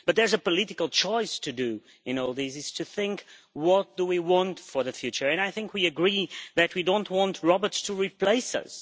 But there is a political choice to make, to think what we want for the future and I think we agree that we don't want robots to replace us